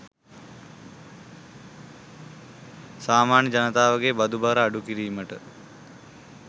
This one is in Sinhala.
සාමාන්‍ය ජනතාවගේ බදු බර අඩු කිරීමට